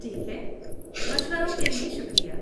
ٹھیک ہے، مشوروں کے لیے شکریہ!